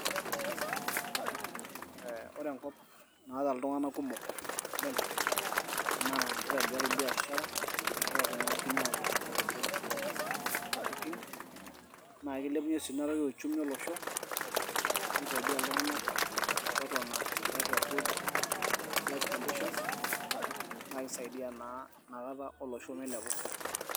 Wore enkop naata iltunganak kumok oleng naa kitobirari biashara amu keaku kinyiangu oleng kumok intokiting naa kilepunyie sii uchumi olosho nisaidia si iltunganak metoton tee good life condition naa kisaidiaa sii olosho milepu